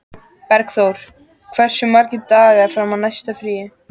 Bergþór, hversu margir dagar fram að næsta fríi?